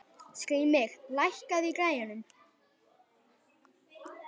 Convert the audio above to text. Skrýmir, lækkaðu í græjunum.